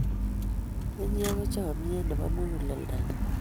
inye ko chamiet nepo muguleldo nyu